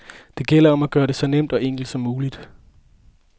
Det gælder om at gøre det så nemt og enkelt som muligt.